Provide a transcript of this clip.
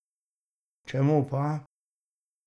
Čemu pa?